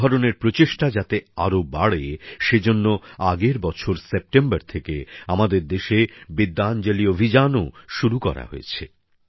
এই ধরনের প্রচেষ্টা যাতে আরো বাড়ে সেজন্য গত বছর সেপ্টেম্বর থেকে আমাদের দেশে বিদ্যাঞ্জলি অভিযানও শুরু হয়েছে